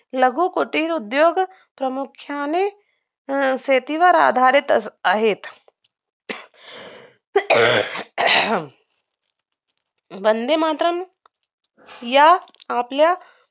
लघुकुटिर उद्योग प्रामुख्याने शेतीवर अवलुंबून आधारित आहेत वंदे मातरम या आपल्या